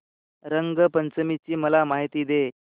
रंग पंचमी ची मला माहिती दे